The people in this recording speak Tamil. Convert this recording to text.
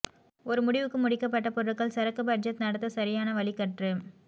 ஒரு முடிவுக்கு முடிக்கப்பட்ட பொருட்கள் சரக்கு பட்ஜெட் நடத்த சரியான வழி கற்று